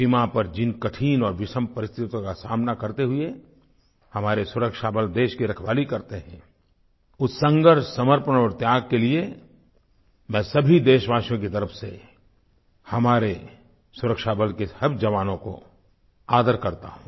सीमा पर जिन कठिन और विषम परिस्थितियों का सामना करते हुए हमारे सुरक्षाबल देश की रखवाली करते हैं उस संघर्ष समर्पण और त्याग के लिए मैं सभी देशवासियों की तरफ़ से हमारे सुरक्षाबल के हर जवानों का आदर करता हूँ